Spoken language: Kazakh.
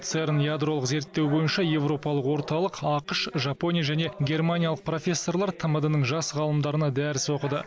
церн ядролық зерттеу бойынша европалық орталық ақш жапония және германиялық профессорлар тмд ның жас ғалымдарына дәріс оқыды